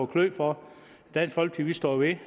klø for dansk folkeparti står ved